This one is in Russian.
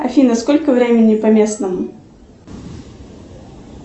афина сколько времени по местному